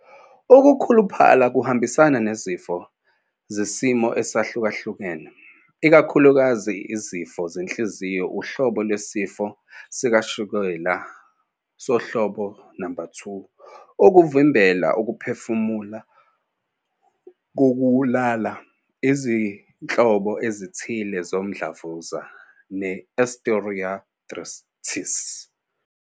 Ukukhuluphala kuhambisana nezifo nezimo ezahlukahlukene, ikakhulukazi izifo zenhliziyo, uhlobo lwesifo sikashukela sohlobo 2, ukuvimbela ukuphefumula kokulala, izinhlobo ezithile zomdlavuza, ne-osteoarthritis.